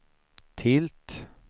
tilt